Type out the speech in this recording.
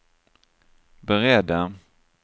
beredda